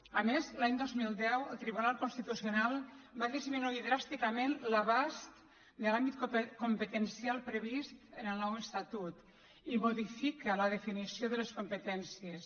a més l’any dos mil deu el tribunal constitucional va disminuir dràsticament l’abast de l’àmbit competencial previst en el nou estatut i modifica la definició de les competències